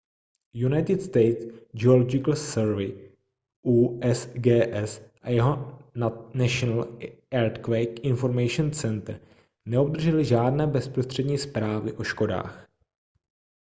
united states geological survey usgs a jeho national earthquake information center neobdržely žádné bezprostřední zprávy o škodách